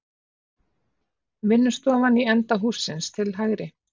Vinnustofan í enda hússins til hægri.